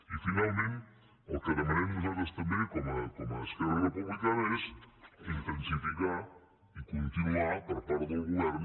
i finalment el que demanem nosaltres també com a esquerra republicana és intensificar i continuar per part del govern